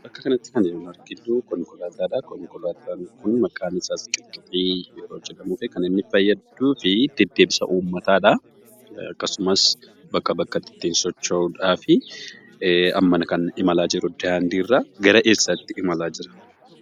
Bakka kanatti kan nuti arginuu konkolaataadhaa. Konkolaataan kun maqaan isaas qixqixii yeroo jedhamuufi kan inni fayyaduufii deddeebisa uummataadhaa, akkasumas bakkaa bakkatti ittiin socho'uudhaafi. Amma kan imalaa jiru daandiirraa, gara eessaatti imalaa jira?